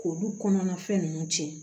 K'olu kɔnɔna fɛn ninnu tiɲɛ